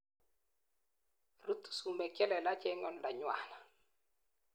Rutu sumek chelelaj en oldanywan